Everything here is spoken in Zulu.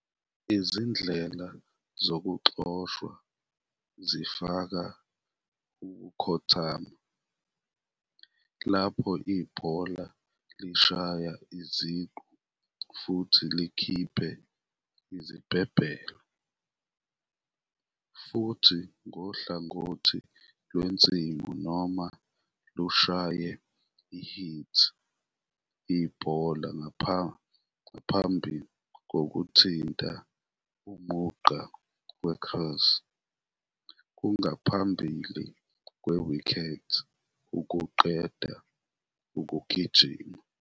Izindlela zokuxoshwa zifaka ukukhothama, lapho ibhola lishaya iziqu futhi likhiphe izibhebhelo, futhi ngohlangothi lwensimu noma lushaya i-hit ibhola ngaphambi kokuthinta umugqa we-crease kungaphambili kwe-wicket ukuqeda ukugijima.